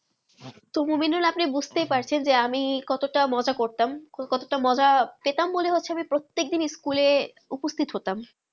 তো মনিবুল আপনি বুঝতে পারছেন যে আমি কত তা মজা করতাম কত তা মজা পেতাম যে বলে হচ্ছে আমি প্রত্যেক দিন স্কুলে ঊপোসিট হতাম